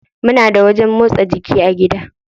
Muna da wajen motsa jiki a gida.